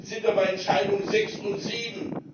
Jetzt sind wir bei Entscheidung sechs und sieben!